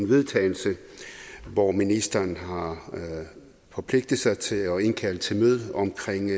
vedtagelse hvor ministeren har forpligtet sig til at indkalde til møde omkring